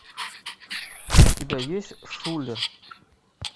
у тебя есть шулер